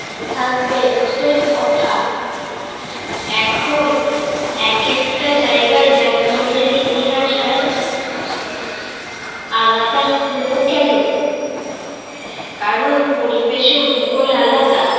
থাকবে উটের কথা। এখন একেকটা জায়গায় যানবাহনের ইতিহাস আলাদা হলো কেন? কারণ পরিবেশ ও ভূগোল আলাদা।